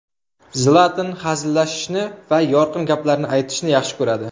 Zlatan hazillashishni va yorqin gaplarni aytishni yaxshi ko‘radi.